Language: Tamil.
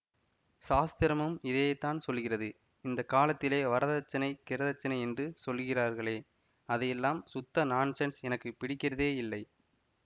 சாஸ்திரமும் இதைத்தான் சொல்கிறது இந்த காலத்திலே வரதட்சணை கிரதட்சணை என்று சொல்கிறார்களே அதெல்லாம் சுத்த நான்ஸென்ஸ் எனக்கு பிடிக்கிறதேயில்லை